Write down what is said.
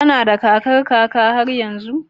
Kana da kakar kaka har yanzu?